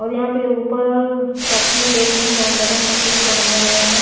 और यहां पे ऊपर काफी दो-तीन जानवरों का चित्र बनाया गया है।